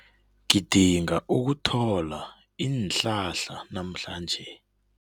Ngidinga ukuthola iinhlahla namhlanje.